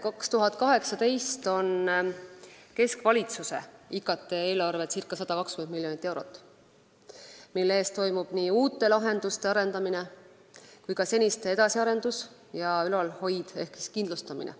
2018. aastal on keskvalitsuse IKT eelarve circa 120 miljonit eurot, mille eest toimub nii uute lahenduste arendamine kui ka seniste edasiarendus ja ülalhoid ehk kindlustamine.